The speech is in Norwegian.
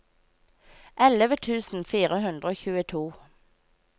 elleve tusen fire hundre og tjueto